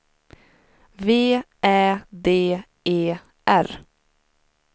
V Ä D E R